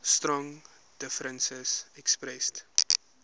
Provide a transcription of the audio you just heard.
strong differences expressed